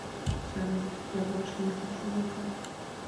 салют я больше не хочу бухать